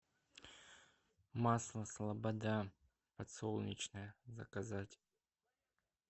масло слобода подсолнечное заказать